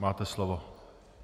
Máte slovo.